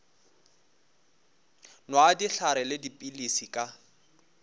nwa dihlare le dipilisi ka